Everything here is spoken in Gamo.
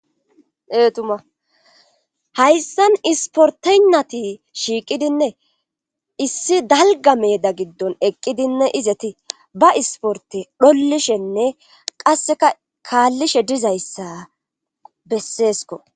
Ee tuma hayssan isportennati shiiqidinne issi dalga meeda giddon eqqidinne izeti ba isporte dhollishenne qasseka kaallishe dizayssa besseesko.